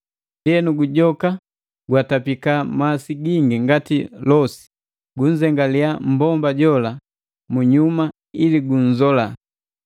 Ndienu gujoka gwatapika masi gingi ngati lose, gunzengaliya mmbomba jola munyuma ili gunzola.